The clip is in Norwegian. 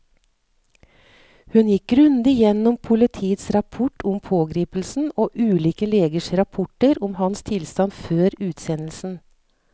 Hun gikk grundig gjennom politiets rapport om pågripelsen og ulike legers rapporter om hans tilstand før utsendelsen.